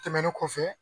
Tɛmɛnen kɔfɛ